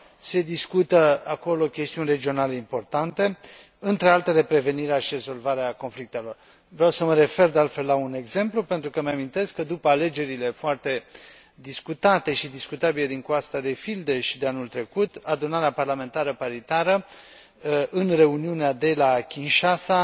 Se discută acolo chestiuni regionale importante, printre altele, prevenirea și rezolvarea conflictelor. Vreau să mă refer, de altfel, la un exemplu îmi amintesc că, după alegerile foarte discutate și discutabile din Coasta de Fildeș de anul trecut, Adunarea Parlamentară Paritară, în reuniunea de la Kinshasa,